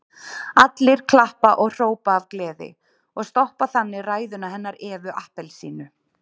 Allir klappa og hrópa af gleði og stoppa þannig ræðuna hennar Evu appelsínu.